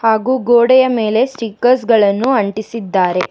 ಹಾಗೂ ಗೋಡೆಯ ಮೇಲೆ ಸ್ಟಿಕರ್ಸ್ ಗಳನ್ನು ಅಂಟಿಸಿದ್ದಾರೆ.